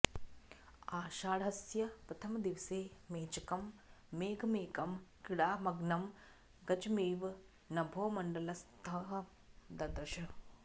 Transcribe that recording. आषाढस्य प्रथमदिवसे मेचकं मेघमेकं क्रीडामग्नं गजमिव नभोमण्डलस्थं ददर्श